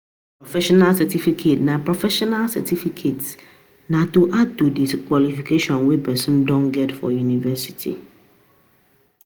professional certiificate na professional certiificate na to add to di qujalification wey person don get from university